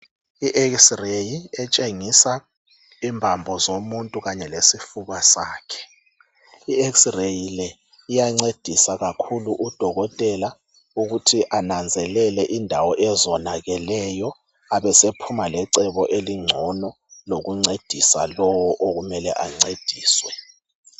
I'X-ray" etshengisa imbambo zomuntu kanye lesifuba sakhe. I'X-RAY' le iyancedisa kakhulu udokotela ukuthi ananzelele indawo ezonakeleyo abe sephuma lecebo elingcono lokuncedisa lowo okumele ancediswe.